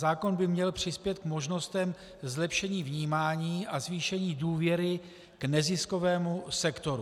Zákon by měl přispět k možnostem zlepšení vnímání a zvýšení důvěry k neziskovému sektoru.